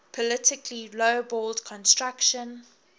politically lowballed construction